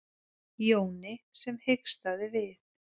Jóni sem hikstaði við.